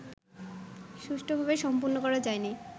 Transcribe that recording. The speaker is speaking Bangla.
সুষ্ঠুভাবে সম্পন্ন করা যায়নি